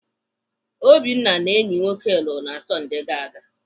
Obinna na enyi nwoke lụrụ na Sọndee gara aga.